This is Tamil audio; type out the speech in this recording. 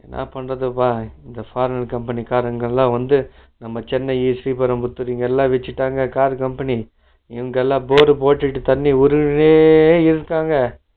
என்னா பன்றதுப்பா இந்த forgein company காரங்கெல்லா வந்து நம்ம சென்னை ஸ்ரீ பெரம்பரத்தூர் இது எல்லா வெச்சிட்டாங்க car company இங்க எல்லா bore போட்டிட்டு தண்ணி உருஞ்சுன்னே இருக்காங்க